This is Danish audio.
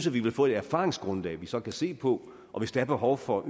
vi få et erfaringsgrundlag vi så kan se på og hvis der er behov for